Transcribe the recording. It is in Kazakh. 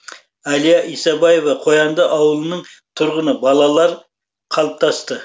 әлия исабаева қоянды ауылының тұрғыны балалар қалыптасты